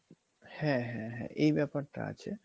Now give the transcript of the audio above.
হ্যা হ্যা হ্যা এই ব্যাপারটা আছে